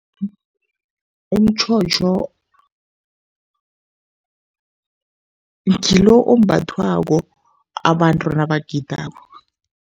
Umtjhotjho ngilo ombathwako abantu nabagidako.